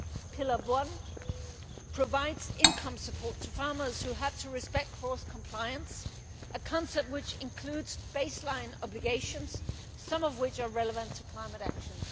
Pillar one provides income support to farmers who have to respect cross compliance a concept that includes baseline obligations, some of which are relevant to climate action.